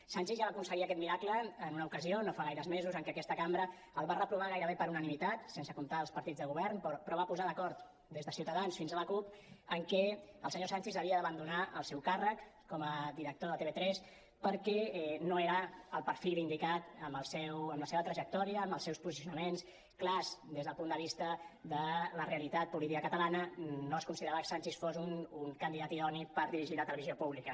sanchis ja va aconseguir aquest miracle en una ocasió no fa gaires mesos en què aquesta cambra el va reprovar gairebé per unanimitat sense comptar els partits de govern però va posar d’acord des de ciutadans fins a la cup en què el senyor sanchis havia d’abandonar el seu càrrec com a director de tv3 perquè no era el perfil indicat amb la seva trajectòria amb els seus posicionaments clars des del punt de vista de la realitat política catalana no es considerava que sanchis fos un candidat idoni per dirigir la televisió pública